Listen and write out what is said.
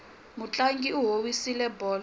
mutlangi u howisile bolo